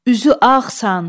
Üzü ağsan.